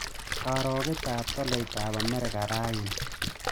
Karogetap tolaitap amerika raini